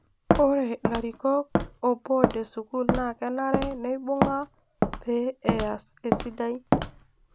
Ore ilarikok o board e school naa kenare neibung'a pee easi esidai.